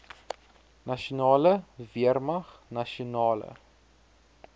nasionale weermag nasionale